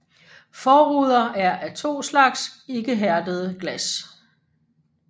Forruder er af to slags ikke hærdede glas